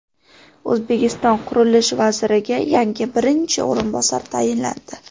O‘zbekiston qurilish vaziriga yangi birinchi o‘rinbosar tayinlandi.